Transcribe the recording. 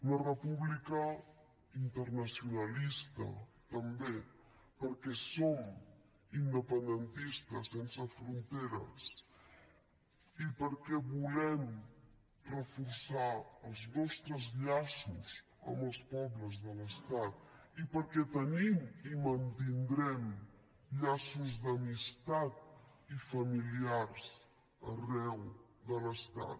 una república internacionalista també perquè som independentistes sense fronteres i perquè volem reforçar els nostres llaços amb els pobles de l’estat i perquè tenim i mantindrem llaços d’amistat i familiars arreu de l’estat